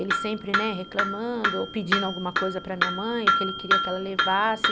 Ele sempre, né, reclamando ou pedindo alguma coisa para minha mãe, o que ele queria que ela levasse.